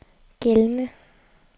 gældende